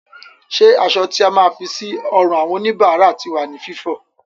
Ṣé aṣọ tí a máa ń fi sí ọrùn àwọn òníbára ti wà ní Fífọ?